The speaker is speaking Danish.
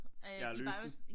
Ja og løse den